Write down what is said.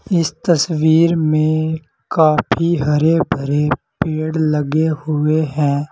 इस तस्वीर में काफी हरे-भरे पेड़ लगे हुए हैं।